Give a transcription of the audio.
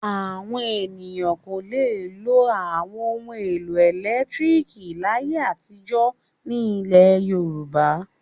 Àwọn ènìyàn kò le lo àwọn ohun-èlò ẹ̀lẹ́tíríkì láyé àtijọ́ ní ilẹ̀ Yorùbá.